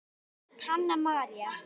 Hanna María.